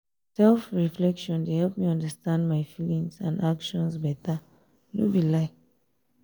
self-reflection dey help me understand my feelings and actions better no be lie.